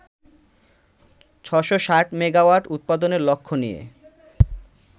৬৬০ megawatt উৎপাদনের লক্ষ্য নিয়ে